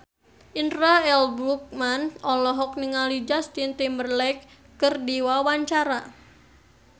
Indra L. Bruggman olohok ningali Justin Timberlake keur diwawancara